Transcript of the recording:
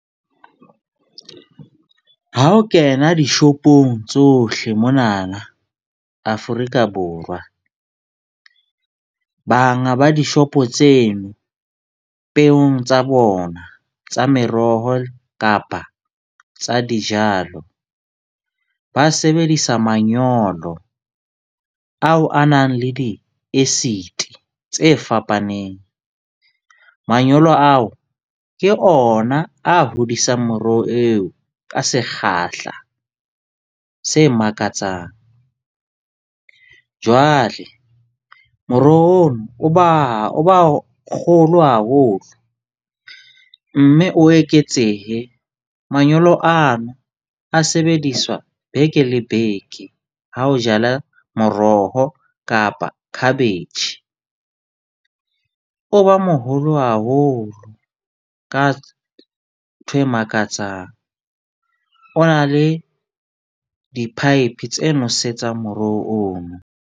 Ha o kena di-shop-ong tsohle monana Afrika Borwa, banga ba di-shop-o tseno peong tsa bona tsa meroho kapa tsa dijalo. Ba sebedisa manyolo ao a nang le di-acid-i tse fapaneng. Manyolo ao ke ona a hodisang moroho eo ka sekgahla se makatsang. Jwale moroho ono o ba kgolo haholo mme o eketsehe manyolo ano a sebediswa beke le beke. Ha o jala moroho kapa cabbage, o ba moholo haholo ka ntho e makatsang. O na le di-pipe tse nosetsang morohong ono.